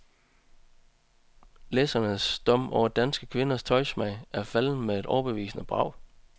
Læsernes dom over danske kvinders tøjsmag faldt med et overbevisende brag.